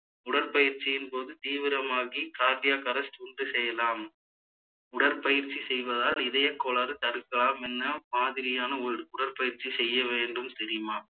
உடற்பயிற்சியின் போது தீவிரமாகி cardiac arrest உண்டு செய்யலாம் உடற்பயிற்சி செய்வதால் இதயக்கோளாறு தடுக்கலாம் என்ன மாதிரியான உடு~ உடற்பயிற்சி செய்ய வேண்டும் தெரியுமா